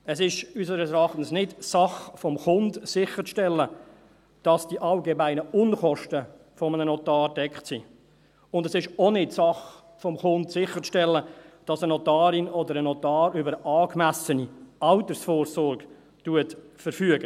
Es ist unseres Erachtens nicht Sache des Kunden, sicherzustellen, dass die allgemeinen Unkosten eines Notars gedeckt sind, und es ist auch nicht Sache des Kunden, sicherzustellen, dass eine Notarin oder ein Notar über eine angemessene Altersvorsorge verfügt.